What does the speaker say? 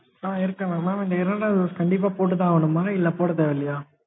mam இருக்கேன் mam, mam இந்த இரண்டாவது dose கண்டிப்பா போட்டுதான் ஆகணுமா? இல்ல போட தேவை இல்லையா?